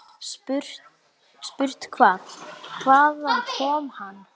Spurt var: Hvaðan kom hann.